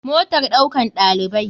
Motar ɗaukan ɗalibai.